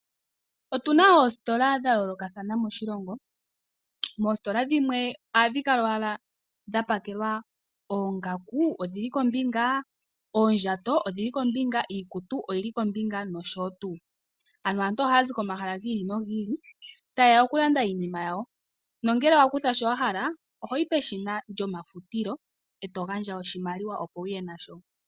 Otuna oositola dha yoolokathana moshilongo. Moositola dhimwe ohadhi kala owala dha pakelwa oongaku odhili kombinga, oondjato odhili kombinga, iikutu oyili kombinga noshowo tuu. Ano aantu ohaya zi komahala gi ili nogi ili taye ya okulanda iinima yawo. Nongele owa kutha shono wa hala ohoyi peshina lyomafutilo eto gandja oshimaliwa opo wuye nasho.